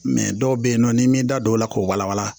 dɔw bɛ yen nɔ n'i m'i da don o la k'o walawala